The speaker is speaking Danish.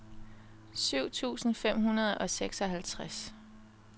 syv tusind fem hundrede og seksoghalvtreds